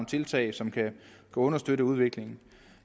tiltag som kan understøtte udviklingen